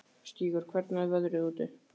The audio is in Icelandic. Stígur, hvernig er veðrið úti?